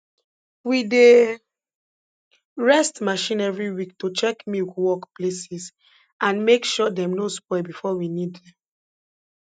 we dey rest marchin every week to check milk work places and make sure dem no spoil before we need dem